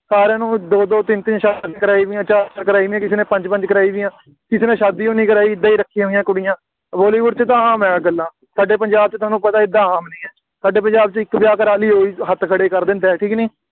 ਸਾਰਿਆਂ ਨੇ ਦੋ-ਦੋ, ਤਿੰਨ-ਤਿੰਨ, ਕਰਾਈਆਂ ਹੋਈਆਂ, ਚਾਰ-ਚਾਰ ਕਰਾਈਆਂ ਹੋਈਆਂ, ਕਿਸੇ ਨੇ ਪੰਜ-ਪੰਜ ਕਰਾਈਆਂ ਹੋਈਆਂ, ਕਿਸੇ ਨੇ ਸ਼ਾਦੀ ਹੋਈ ਨਹੀਂ ਕਰਾਈ, ਏਦਾਂ ਹੀ ਰੱਖੀਆਂ ਹੋਈਆਂ ਕੁੜੀਆਂ, ਬਾਲੀਵੁੱਡ ਵਿੱਚ ਤਾਂ ਆਮ ਹੀ ਇਹ ਗੱਲਾਂ, ਸਾਡੇ ਪੰਜਾਬ ਵਿੱਚ ਸਾਨੂੰ ਪਤਾ ਏਦਾਂ ਆਮ ਨਹੀਂ ਹੈ, ਸਾਡੇ ਪੰਜਾਬ ਇੱਕ ਵਿਆਹ ਕਰਾ ਲਈਏ ਉਹੀ ਹੱਥ ਖੜ੍ਹੇ ਕਰ ਦਿੰਦਾ, ਠੀਕ ਹੈ ਕਿ ਨਹੀਂ,